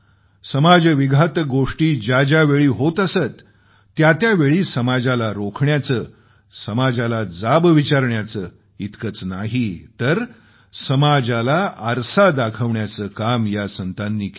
समाज विघातक गोष्टी ज्या ज्यावेळी होत असत त्या त्यावेळी समाजाला रोखण्याचे समाजाला जाब विचारण्याचे इतकंच नाही तर समाजाला आरसा दाखवण्याचं काम या संतांनी केलं